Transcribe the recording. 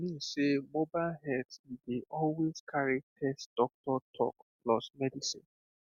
i mean sey mobile health e dey always carry test doctor talk plus medicine